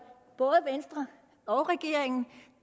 venstre og regeringen